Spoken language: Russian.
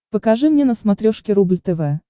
покажи мне на смотрешке рубль тв